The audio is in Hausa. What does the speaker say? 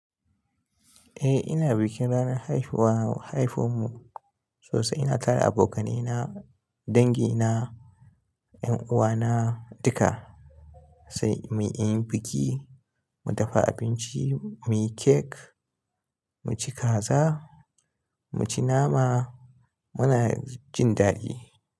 Eh ina bikin ranar haifuwa haifun mu sosai. Ina tara abokanai na, dangi na, 'yan uwa na duka sai mu yi biki, mu dafa abinci, muyi cake, mu ci kaza, mu ci nama muna jin daɗi.